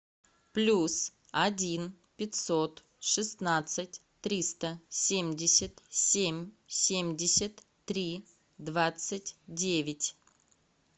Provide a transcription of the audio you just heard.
плюс один пятьсот шестнадцать триста семьдесят семь семьдесят три двадцать девять